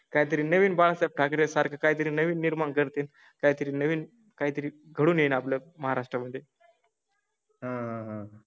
काहीतरी नवीन बाळा सारखं काहीतरी नवीन निर्माण करते, काहीतरी नवीन काहीतरी घेऊन आपल्या महाराष्ट्र मध्ये. हां हां